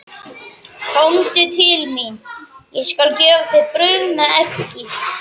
Komdu til mín, ég skal gefa þér brauð með eggi.